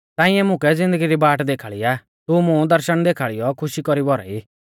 ताऐं मुकै ज़िन्दगी री बाट देखाल़ी आ तू मुं दर्शण देखाल़ीऔ खुशी कौरी भौराई